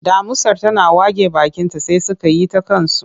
Damusar tana wage bakinta sai suka yi ta kansu.